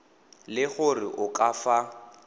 le gore o ka fa